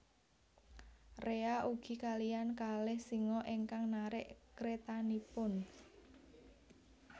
Rea ugi kalihan kalih singa ingkang narik kretanipun